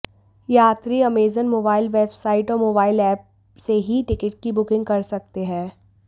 यात्री Amazon mobile website और mobile app से ही टिकट की बुकिंग कर सकते हैं